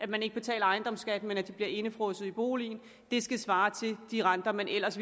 man ikke betaler ejendomsskat den bliver indefrosset i boligen skal svare til de renter man ellers